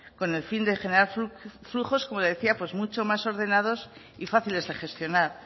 con el fin de generar flujos como le decía mucho más ordenados y fáciles de gestionar